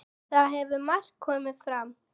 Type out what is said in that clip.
Þar hafi margt komið fram.